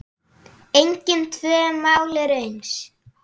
Engin tvö mál eru eins.